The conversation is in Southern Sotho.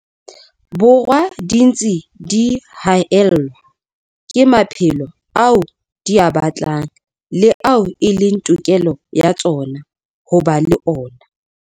Borwa di ntse di haellwa ke maphelo ao di a batlang le ao e leng tokelo ya tsona ho ba le ona.